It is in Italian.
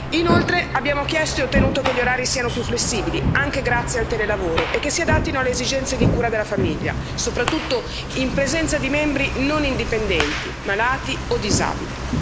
Inoltre, abbiamo chiesto e ottenuto che gli orari siano più flessibili, anche grazie al telelavoro, e che si adattino alle esigenze di cura della famiglia, soprattutto in presenza di membri non indipendenti, malati o disabili.